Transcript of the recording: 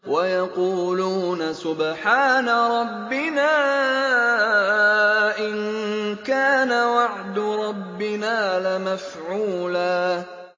وَيَقُولُونَ سُبْحَانَ رَبِّنَا إِن كَانَ وَعْدُ رَبِّنَا لَمَفْعُولًا